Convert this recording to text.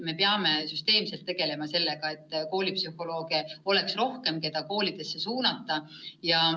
Me peame süsteemselt tegelema sellega, et koolipsühholooge oleks rohkem ja neid saaks koolidesse suunata.